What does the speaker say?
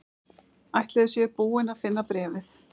Ætli þau séu búin að finna bréfið?